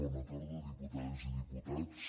bona tarda diputades i diputats